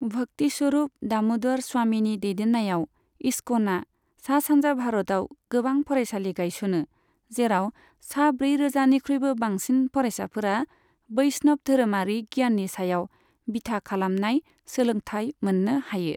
भक्तिस्वरूप दाम'दर स्वामीनि दैदेन्नायाव इस्क'ना सा सानजा भारतआव गोबां फरायसालि गायसनो, जेराव सा ब्रैरोजानिख्रुइबो बांसिन फरायसाफोरा बैष्णव धोरोमारि गियाननि सायाव बिथा खालामनाय सोलोंथाइ मोननो हायो।